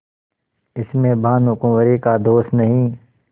इसमें भानुकुँवरि का दोष नहीं